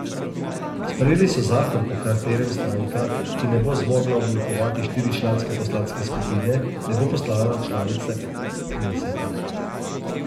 Sprejeli so zakon po katerem stranka, ki ne bo zmogla oblikovati štiričlanske poslanske skupine, ne bo postala članica kneseta.